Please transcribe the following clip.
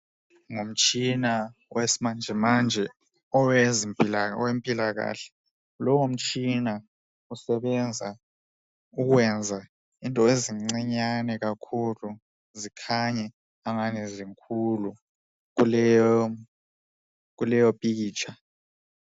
Ngumtshina owesimanjemanje, owempilakahle. Lowo mtshina usebenza ukwenza izinto ezincinyane kakhulu zikhanye angani zikhulu kuleyopikitsha.